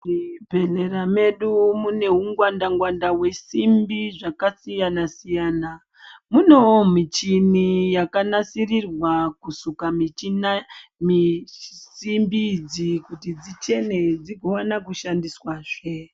Muzvibhedhlera mwedu mune hu gwanda ngwanda hwesimbi dzakasiyana siyana. Munewo michina yakanasirirwe kusuke simbi idzi kuti dzichene dzigowana kushandiswazve.